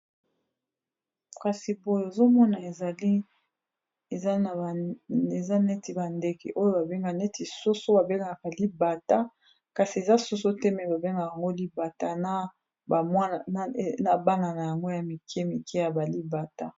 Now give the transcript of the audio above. kasi boye ozomona eza neti bandeke oyo babenga neti soso babengaka libata kasi eza soso te me babengaka yango libata na bana na yango ya mike mike ya balibata